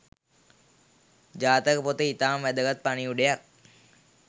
ජාතක පොත ඉතාම වැදගත් පණිවිඩයක්